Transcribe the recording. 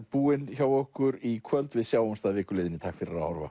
búinn hjá okkur í kvöld við sjáumst að viku liðinni takk fyrir að horfa